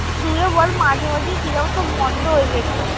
তুইও বল মাঝে মাঝে কিরাম সব বন্ধ হয়ে যেত।